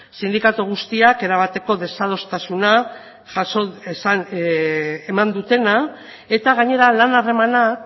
sindikatu guztiak erabateko desadostasuna eman dutena eta gainera lan harremanak